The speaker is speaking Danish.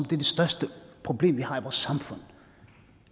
det største problem vi har i vores samfund